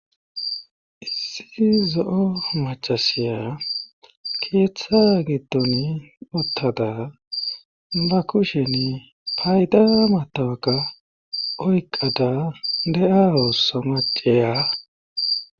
issi zo7o machasiya keeththaa gidton uttada ba kushen payda matawaka oyqada de7a osso maceya